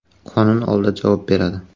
Qonun oldida javob beradi.